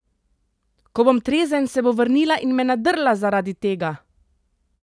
Ko bom trezen, se bo vrnila in me nadrla zaradi tega!